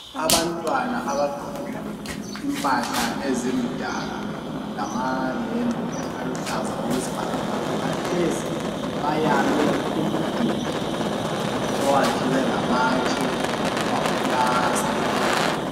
Abantwana abagqoke imphahla ezimdaka, ngamahembe aluhlaza okwesbhakabhaka, bahlezi bayame umduli owakiwe ngamatshe waphilasthwa.